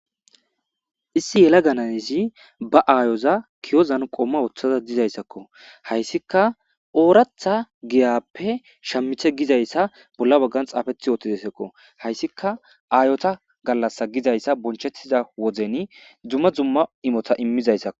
Issi yela ganayezi ba aayoza kiyozan qomma wooththaza dizayssakko hayssika ooratha giyappe shammithe gizayssa bolla baggan xaafethi yoottidaysakko hayssika aayota gallasa gizayssa bonchettiza woden dzumma zumma imota immizayssakko.